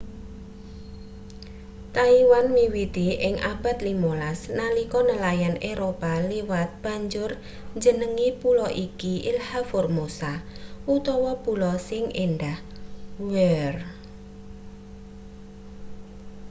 taiwan miwiti ing abad 15 nalika nelayan eropa liwat banjur njenengi pulo iki ilha formosa utawa pulo sing endah.where